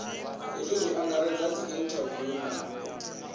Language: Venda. hezwi zwi angaredza dziinthaviwu na